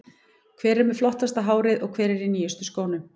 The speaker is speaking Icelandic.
Hver er með flottasta hárið og hver er í nýjustu skónum?